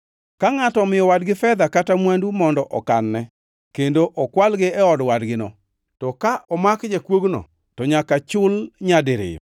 “Ka ngʼato omiyo wadgi fedha kata mwandu mondo okanne kendo okwalgi e od wadgino, to ka omak jakuogno, to nyaka chul nyadiriyo.